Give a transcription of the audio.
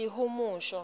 lihumusho